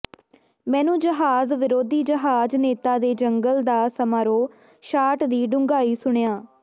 ਮੈਨੂੰ ਜਹਾਜ਼ ਵਿਰੋਧੀ ਜਹਾਜ਼ ਨੇਤਾ ਦੇ ਜੰਗਲ ਦਾ ਸਮਾਰੋਹ ਸ਼ਾਟ ਦੀ ਡੂੰਘਾਈ ਸੁਣਿਆ